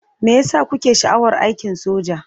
Me ya sa kuke sha'awar aikin soja?